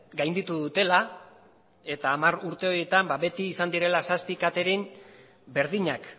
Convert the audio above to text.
gainditu dutela eta hamar urte horietan beti izan direla zazpi catering berdinak